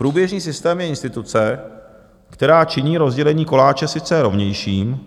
Průběžný systém je instituce, která činí rozdělení koláče sice rovnějším,